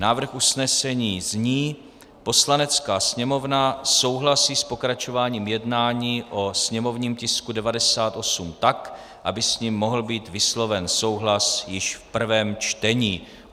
Návrh usnesení zní: "Poslanecká sněmovna souhlasí s pokračováním jednání o sněmovním tisku 98 tak, aby s ním mohl být vysloven souhlas již v prvém čtení."